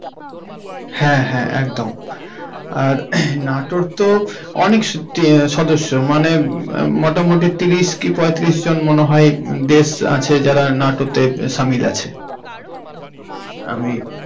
হ্যাঁ! হ্যাঁ! একদম! আর নাটোর তো অনেক শক্তি। সদস্য মানে মোটামুটি তিরিশ কি পঁয়তিরিশ জন মনে হয় দেশ আছে যারা নাটোতে সামিল আছে. হুম হুম হুম আমি.